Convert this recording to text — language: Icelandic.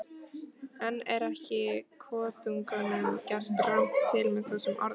En er ekki kotungunum gert rangt til með þessum orðum?